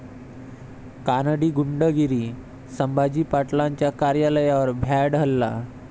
कानडी गुंडगिरी, संभाजी पाटलांच्या कार्यालयावर भ्याड हल्ला